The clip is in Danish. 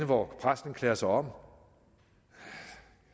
hvor præsten klæder sig om